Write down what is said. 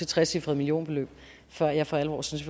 trecifret millionbeløb før jeg for alvor synes